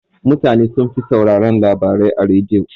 Mutana sunfi sauraran labarai a rediyo.